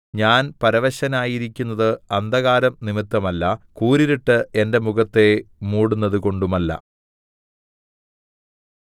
ഞാൻ പരവശനായിരിക്കുന്നത് അന്ധകാരംനിമിത്തമല്ല കൂരിരുട്ട് എന്റെ മുഖത്തെ മൂടുന്നതുകൊണ്ടുമല്ല